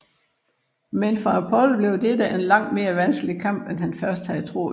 Men for Apollo bliver dette en langt mere vanskelig kamp end det han først havde troet